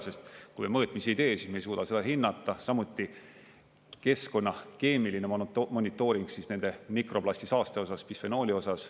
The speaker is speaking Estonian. Sest kui me mõõtmisi ei tee, siis me ei suuda seda hinnata, samuti keskkonna keemiline monitooring siis nende mikroplastisaaste osas, bisfenooli osas.